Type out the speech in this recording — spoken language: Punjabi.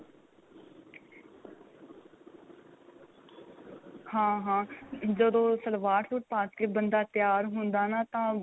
ਹਾਂ ਹਾਂ ਜਦੋੰ ਸਲਵਾਰ ਸੂਟ ਪਾ ਕੇ ਬੰਦਾ ਤਿਆਰ ਹੁੰਦਾ ਨਾ ਤਾਂ